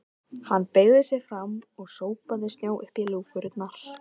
Hann beygði sig fram og sópaði snjó upp í lúkurnar.